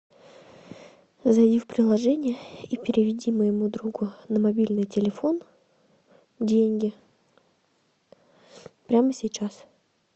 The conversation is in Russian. зайди в приложение и переведи моему другу на мобильный телефон деньги прямо сейчас